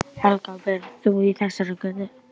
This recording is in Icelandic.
Helga: Býrð þú í þessari götu?